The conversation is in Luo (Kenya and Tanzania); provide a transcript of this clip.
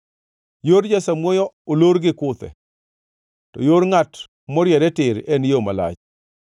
Yor jasamuoyo olor gi kuthe, to yor ngʼat moriere tir en yo malach.